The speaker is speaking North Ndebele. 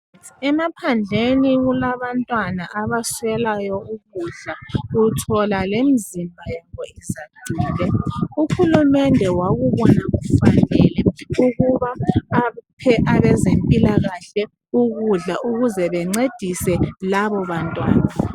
Emaphandleni kulabantwana abaswekayo ukudla uthola lomzimba yabo izacile uhulumende wakubonakufanele ukubaaphe abezempilakahle ukudla ukuze bencedise labo bantwana